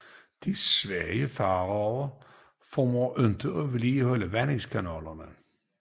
De svage faraoer formår ikke at vedligeholde vandingskanalerne